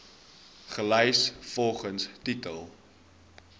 gelys volgens titel